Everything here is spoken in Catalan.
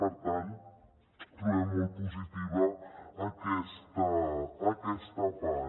per tant trobem molt positiva aquesta part